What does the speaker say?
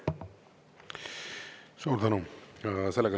Suur tänu!